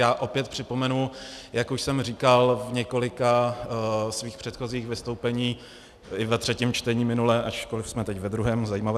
Já opět připomenu, jak už jsem říkal v několika svých předchozích vystoupeních i ve třetím čtení minule, ačkoliv jsme teď ve druhém, zajímavé.